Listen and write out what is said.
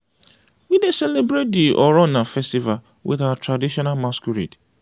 we dey celebrate di oronna festival wit our traditional masquerade.